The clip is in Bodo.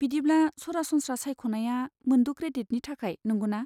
बिदिब्ला सरासनस्रा सायख'नायआ मोनद' क्रेडिटनि थाखाय, नंगौना?